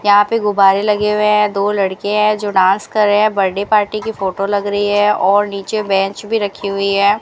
यहां पे गुब्बारे लगे हुए है दो लड़के है जो डांस के रहे है बर्थडे पार्टी की फोटो लग रही है और नीचे बेंच भी रखी हुई है।